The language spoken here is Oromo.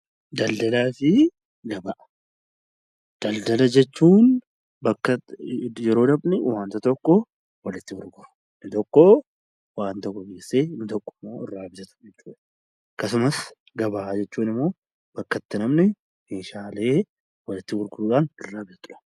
Daldala jechuun yeroo namni tokko walitti gurguru tokkommoo bitudha. Akkasumas gabaa jechuun immoo bakka itti namni walitti gurguruu fi bitudha.